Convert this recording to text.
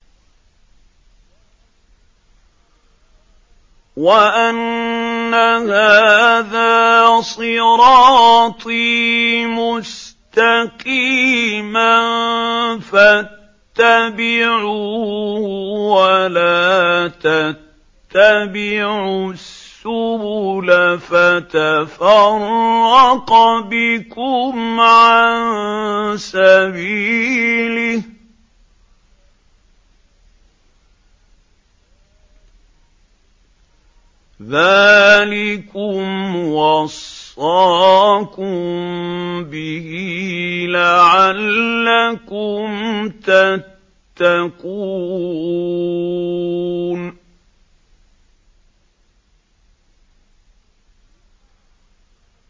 وَأَنَّ هَٰذَا صِرَاطِي مُسْتَقِيمًا فَاتَّبِعُوهُ ۖ وَلَا تَتَّبِعُوا السُّبُلَ فَتَفَرَّقَ بِكُمْ عَن سَبِيلِهِ ۚ ذَٰلِكُمْ وَصَّاكُم بِهِ لَعَلَّكُمْ تَتَّقُونَ